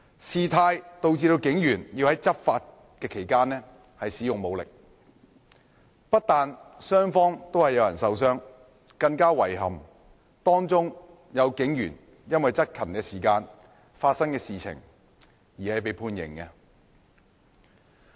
事態導致警員要在執法期間使用武力，不但雙方都有人受傷，更遺憾的是，當中有警員因為執勤期間發生的事情而被判刑。